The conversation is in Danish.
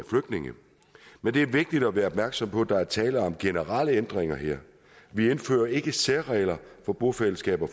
flygtninge men det er vigtigt at være opmærksom på at der er tale om generelle ændringer her vi indfører ikke særregler for bofællesskaber